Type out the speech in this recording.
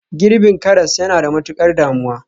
Girbin karas yana da matukar damuwa